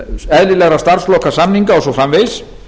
eðlilegra starfslokasamninga og svo framvegis